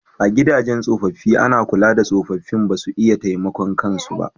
A gidajen tsofaffi ana kula da tsofaffin ba su iya taimakon kan su ba